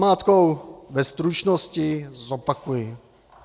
Namátkou ve stručnosti zopakuji...